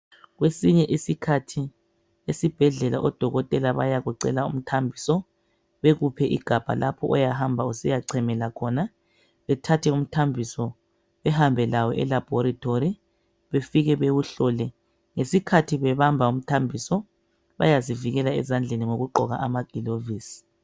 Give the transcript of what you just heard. Kwesinye isikhathi esibhedlela odokotela bayakucela umthambiso bekuphe igabha lapho oyahamba usiya chemela khona bethathe umthambiso behambe lawo e"Laboratory " befike bewuhlole, ngesikhathi bebamba umthambiso bayazivikela ezandleni ngokugqoka amagilovisi.